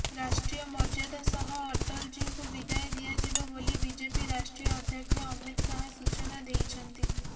ରାଷ୍ଟ୍ରୀୟ ମର୍ଯ୍ୟାଦା ସହ ଅଟଳଜୀଙ୍କୁ ବିଦାୟ ଦିଆଯିବ ବୋଲି ବିଜେପି ରାଷ୍ଟ୍ରୀୟ ଅଧ୍ୟକ୍ଷ ଅମିତ ଶାହ ସୂଚନା ଦେଇଛନ୍ତି